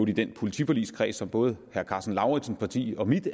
i den politiforligskreds som både herre karsten lauritzens parti og mit